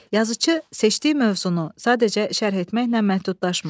Yazıçı seçdiyi mövzunu sadəcə şərh etməklə məhdudlaşmır.